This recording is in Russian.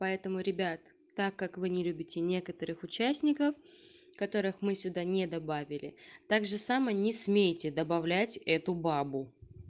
поэтому ребят так как вы не любите некоторых участников которых мы сюда не добавили также само не смейте добавлять эту бабу